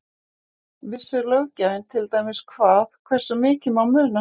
Vissi löggjafinn til dæmis hvað, hversu mikið má muna?